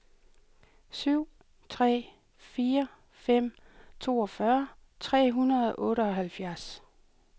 syv tre fire fem toogfyrre tre hundrede og otteoghalvtreds